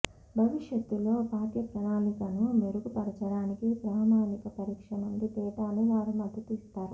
భవిష్యత్తులో పాఠ్యప్రణాళికను మెరుగుపరచడానికి ప్రామాణిక పరీక్ష నుండి డేటాను వారు మద్దతు ఇస్తారు